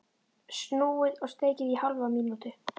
Snúið og steikið í hálfa mínútu.